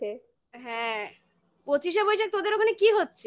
হ্যাঁ পঁচিশে বৈশাখ তোদের ওখানে কি হচ্ছে?